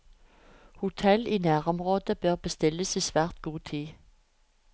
Hotell i nærområdet bør bestilles i svært god tid.